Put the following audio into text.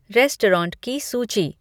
restaurant की सूची